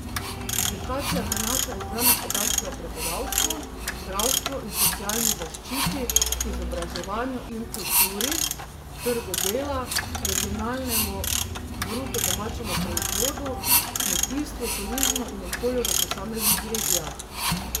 Publikacija prinaša izbrane podatke o prebivalstvu, zdravstvu in socialni zaščiti, izobraževanju in kulturi, trgu dela, regionalnem bruto domačem proizvodu, kmetijstvu, turizmu in okolju v posameznih regijah.